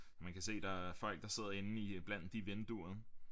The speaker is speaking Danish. Man kan se der er folk der sidder inde i blandt de vinduer